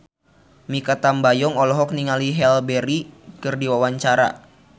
Mikha Tambayong olohok ningali Halle Berry keur diwawancara